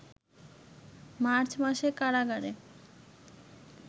March মাসে কারাগারে